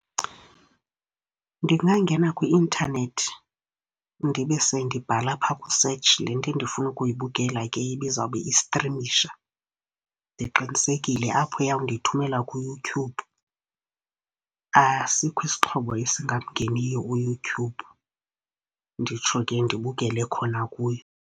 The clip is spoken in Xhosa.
Ndingangena kwi-intanethi ndibe sendibhala phaa kwi-search le nto endifuna ukuyibukela ke, ibizawube istrimisha. Ndiqinisekile apho iyawundithumela kuYouTube, asikho isixhobo esingamngeniyo uYoutube. Nditsho ke ndibukele khona kuyo.